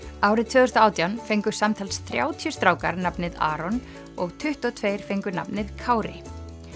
árið tvö þúsund og átján fengu samtals þrjátíu strákar nafnið Aron og tuttugu og tveir fengu nafnið Kári